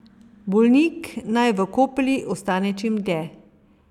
Bolnik naj v kopeli ostane čim dlje.